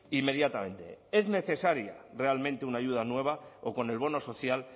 inmediatamente es necesaria realmente una ayuda nueva o con el bono social